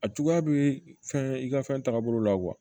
A juguya bɛ fɛn i ka fɛn taabolo la kuwa